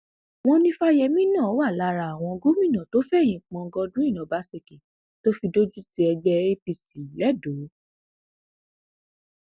wọn ní fáyẹmì náà wà lára àwọn gómìnà tó fẹyìn pọn godwin ọbaṣẹkí tó fi dojútì ẹgbẹ apc lẹdọ